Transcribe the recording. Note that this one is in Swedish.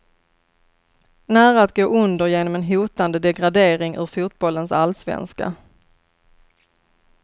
Nära att gå under genom en hotande degradering ur fotbollens allsvenska.